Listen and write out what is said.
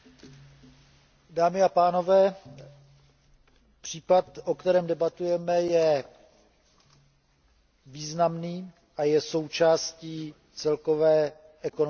Dámy a pánové, případ o kterém debatujeme, je významný a je součástí celkové ekonomické situace.